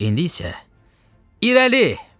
İndi isə irəli!